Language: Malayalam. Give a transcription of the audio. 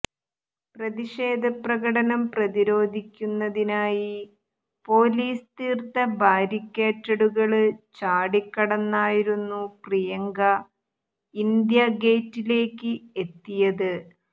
പ്രതിഷേധ പ്രകടനം പ്രതിരോധിക്കുന്നതിനായി പൊലീസ് തീര്ത്ത ബാരിക്കേഡുകള് ചാടിക്കടന്നായിരുന്നു പ്രിയങ്ക ഇന്ത്യാ ഗേറ്റിലേക്ക് എത്തിയത്